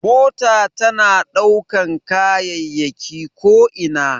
Mota tana ɗaukan kayayyaki ko ina.